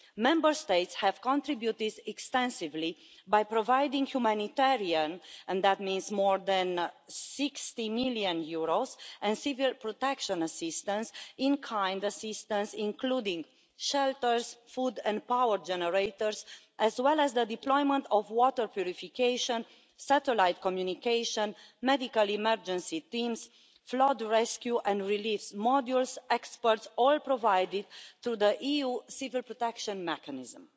Member States have contributed extensively by providing humanitarian and that means more than EUR 60 million and civil protection assistance in kind, including shelters, food and power generators, as well as the deployment of water purification, satellite communication, medical emergency teams, flood rescue and relief modules, experts all provided through the EU Civil Protection Mechanism.